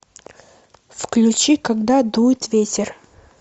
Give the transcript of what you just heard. включи когда дует ветер